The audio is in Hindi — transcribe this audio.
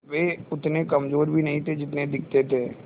वे उतने कमज़ोर भी नहीं थे जितने दिखते थे